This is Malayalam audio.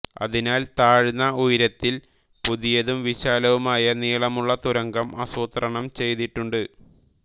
അതിനാൽ താഴ്ന്ന ഉയരത്തിൽ പുതിയതും വിശാലവുമായ നീളമുള്ള തുരങ്കം ആസൂത്രണം ചെയ്തിട്ടുണ്ട്